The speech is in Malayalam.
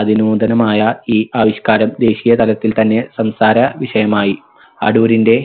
അതിനൂതനമായ ഈ ആവിഷ്കാരം ദേശിയ തലത്തിൽ തന്നെ സംസാര വിഷയമായി. അടൂരിന്റെ